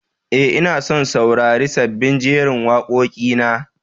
E, ina son saurari sabbin jerin waƙoƙinka.